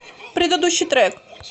предыдущий трек